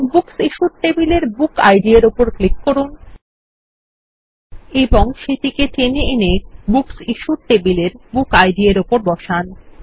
এখন বুকস টেবিলের book ID র উপর ক্লিক করুন এবং সেটিকে টেনে এনে বুকস ইশ্যুড টেবিলের বুক ID র উপর বসান